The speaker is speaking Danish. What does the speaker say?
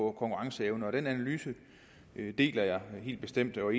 og konkurrenceevne den analyse deler jeg helt bestemt og